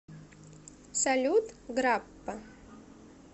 салют граппа